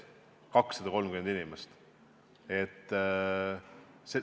230 inimest.